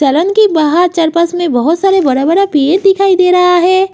Salon के बाहर में बोहोत सारे बड़ा-बड़ा पेड़ दिखाई दे रहा है।